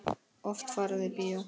Oft er farið í bíó.